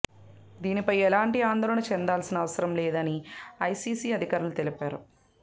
దీనిపై ఎలాంటి ఆందోళన చెందాల్సిన అవసరం లేదని ఐసీసీ అధికారులు తెలిపారు